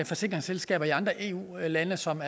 forsikringsselskaber i andre eu lande som